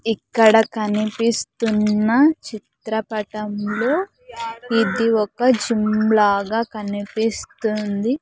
ఇక్కడ కనిపిస్తున్న చిత్రపటంలో ఇది ఒక జిమ్ లాగా కనిపిస్తుంది.